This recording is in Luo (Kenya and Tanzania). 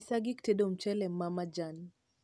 nyisa gik tedo mchele ma majan